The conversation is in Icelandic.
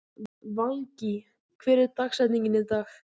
Valgý, hver er dagsetningin í dag?